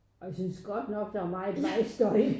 Og jeg synes godt nok der er meget vejstøj